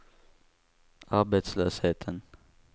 arbetslösheten